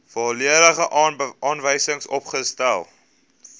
volledige aanwysings opgestel